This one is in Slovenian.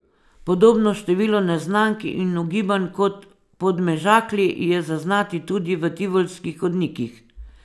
Podobno število neznank in ugibanj kot v Podmežakli je zaznati tudi v tivolskih hodnikih.